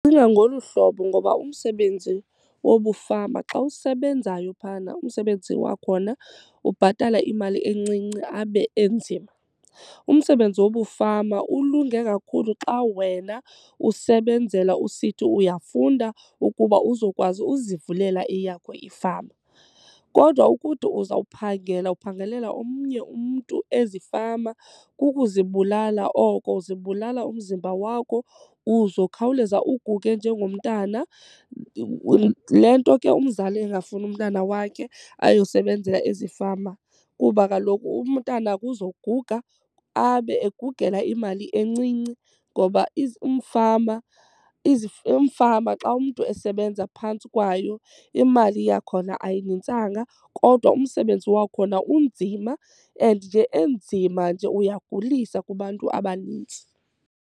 ngolu hlobo ngoba umsebenzi wobufama xa usebenzayo phana umsebenzi wakhona ubhatala imali encinci abe enzima. Umsebenzi wobufama ulunge kakhulu xa wena usebenzela usithi uyafunda ukuba uzokwazi uzivulela eyakho ifama. Kodwa ukuthi uzawuphangela uphangelela omnye umntu ezifama kukuzibulala oko uzibulala umzimba wakho uzokhawuleza uguge njengomntana, yile nto ke umzali engafuni umntana wakhe ayosebenzela ezifama. Kuba kaloku umntana kuzoguga abe egugela imali encinci ngoba umfama umfama xa umntu esebenza phantsi kwayo imali yakhona ayinintsanga kodwa umsebenzi wakhona unzima and nje enzima nje uyagulisa kubantu abanintsi.